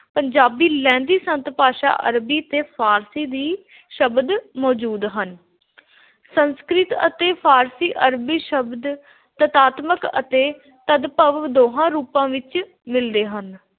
ਪੰਜਾਬੀ, ਲਹਿੰਦੀ, ਸੰਤ – ਭਾਸ਼ਾ, ਅਰਬੀ ਤੇ ਫ਼ਾਰਸੀ ਵੀ ਸ਼ਬਦ ਮੌਜੂਦ ਹਨ । ਸੰਸਕ੍ਰਿਤ ਅਤੇ ਫ਼ਾਰਸੀ – ਅਰਬੀ ਸ਼ਬਦ ਤਤਾਤਮਕ ਤੇ ਤਦਭਵ ਦੋਹਾਂ ਰੂਪਾਂ ਵਿਚ ਮਿਦਲੇ ਹਨ।